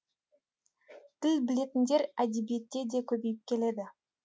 тіл білетіндер әдебиетте де көбейіп келеді